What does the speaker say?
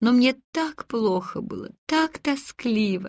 но мне так плохо было так тоскливо